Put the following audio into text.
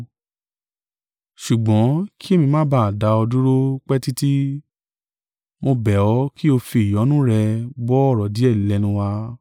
Ṣùgbọ́n kí èmi má ba á dá ọ dúró pẹ́ títí, mo bẹ̀ ọ́ kí o fi ìyọ́nú rẹ gbọ́ ọ̀rọ̀ díẹ̀ lẹ́nu wa.